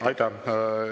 Aitäh!